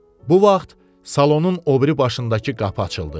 Bu vaxt salonun o biri başındakı qapı açıldı.